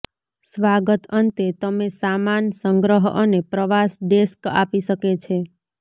સ્વાગત અંતે તમે સામાન સંગ્રહ અને પ્રવાસ ડેસ્ક આપી શકે છે